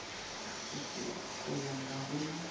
go fola ga go na